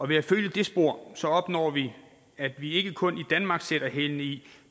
ved at følge det spor opnår vi at vi ikke kun i danmark sætter hælene i